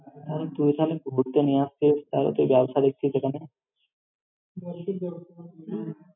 তাহলে তুই তাহলে ঘুরতে নিয়ে আসছিস, তাহলে ব্যবসা দেখছিস এখানে?